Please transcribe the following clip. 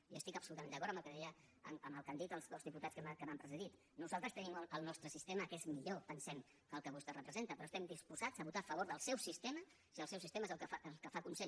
i jo estic absolutament d’acord amb el que han dit els dos diputats que m’han precedit nosaltres tenim el nostre sistema que és millor pensem que el que vostè representa però estem disposats a votar a favor del seu sistema si el seu sistema és el que fa consens